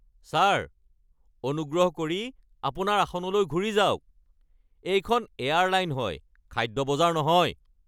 Sir, অনুগ্ৰহ কৰি আপোনাৰ আসনলৈ ঘূৰি যাওক। এইখন এয়াৰলাইন হয়, খাদ্য বজাৰ নহয়!